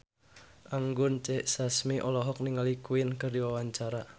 Anggun C. Sasmi olohok ningali Queen keur diwawancara